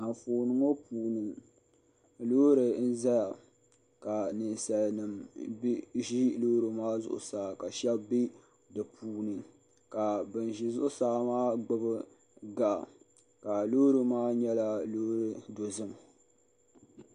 Anfooni ŋɔ puuni loori n zaya ka ninsali nima ʒi loori maa zuɣusaa ka shɛba bɛ di puuni ka bin ʒi zuɣusaa maa gbubi gaɣa ka loori maa nyɛla loori dozim.